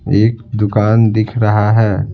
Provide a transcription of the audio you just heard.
एक दुकान दिख रहा है।